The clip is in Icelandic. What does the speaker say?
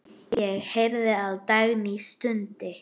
Ég heyrði að Dagný stundi.